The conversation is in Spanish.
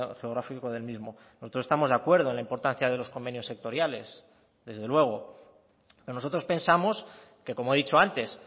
geográfico del mismo nosotros estamos de acuerdo en la importancia de los convenios sectoriales desde luego nosotros pensamos que como he dicho antes